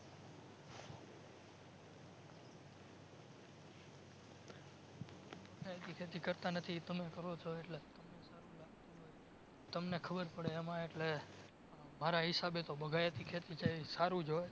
બગાયતી ખેતી કરતાં નથી એ તમે કરો છો એટલે તમને ખબર પડે એમાં એટલે મારા હિસાબે બગાયતી કહતી છે એ સારું જ હોય